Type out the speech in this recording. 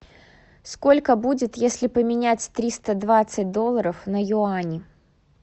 сколько будет если поменять триста двадцать долларов на юани